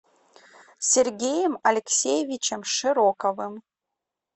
сергеем алексеевичем широковым